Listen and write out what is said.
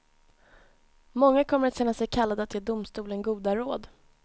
Många kommer att känna sig kallade att ge domstolen goda råd.